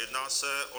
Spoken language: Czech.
Jedná se o